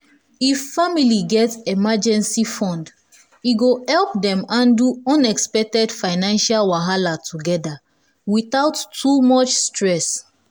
if family get emergency fund e go help dem handle unexpected financial wahala together without too much stress.